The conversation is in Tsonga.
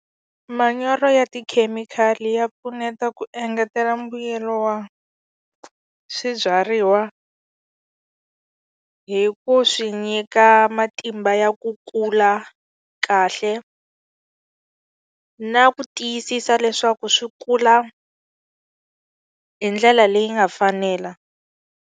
Manyoro ya tikhemikhali ya pfuneta ku engetela mbuyelo wa swibyariwa hi ku swi nyika matimba ya ku kula kahle na ku tiyisisa leswaku swi kula hi ndlela leyi nga fanela.